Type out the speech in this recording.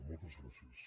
moltes gràcies